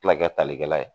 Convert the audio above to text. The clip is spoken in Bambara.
tilakɛ talikɛla ye